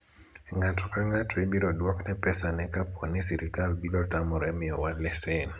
ng'ato ka ng'ato ibiro dwokne pesane kapo ni sirikal biro tamore miyowa lesen